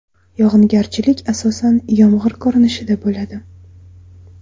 Yog‘ingarchilik asosan yomg‘ir ko‘rinishida bo‘ladi.